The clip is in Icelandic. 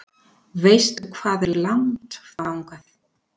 Veistu hvað er langt þangað?